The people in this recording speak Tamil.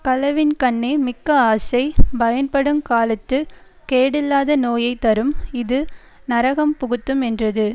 களவின்கண்ணே மிக்கஆசை பயன்படுங் காலத்துக் கேடில்லாத நோயை தரும் இது நரகம் புகுத்தும் என்றது